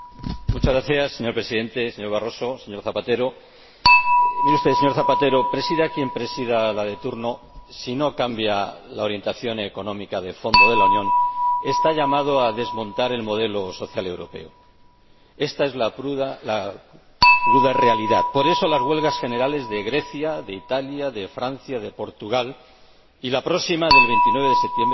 Señor Presidente, señor Barroso, señor Rodríguez Zapatero, mire usted, señor Rodríguez Zapatero, ejerza quien ejerza la Presidencia de turno, si no cambia la orientación económica de fondo de la Unión, está llamado a desmontar el modelo social europeo. Esta es la cruda realidad. Por eso, las huelgas generales de Grecia, de Italia, de Francia, de Portugal y la próxima, del 29 de septiembre, de España.